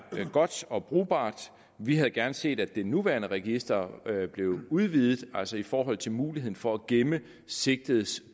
godt og brugbart vi havde gerne set at det nuværende register blev udvidet altså i forhold til muligheden for at gemme sigtedes